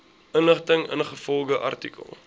inligting ingevolge artikel